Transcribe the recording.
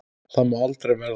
Það má aldrei verða.